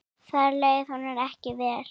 Þar leið honum ekki vel.